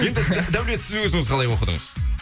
енді даулет сіз өзіңіз қалай оқыдыңыз